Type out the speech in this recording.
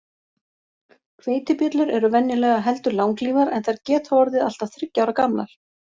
Hveitibjöllur eru venjulega heldur langlífar, en þær geta orðið allt að þriggja ára gamlar.